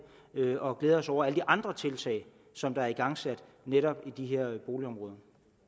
og glæder os over alle de andre tiltag som der er igangsat netop i de her boligområder